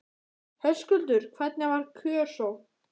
Höskuldur, hvernig var kjörsókn?